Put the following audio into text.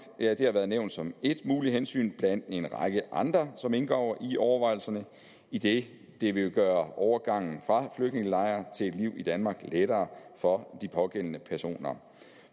har været nævnt som ét muligt hensyn blandt en række andre som indgår i overvejelserne idet det vil gøre overgangen fra flygtningelejre til et liv i danmark lettere for de pågældende personer